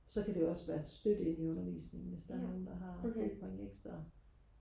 så kan det også være støtte inde i undervisningen hvis der er nogen der har brug for en ekstra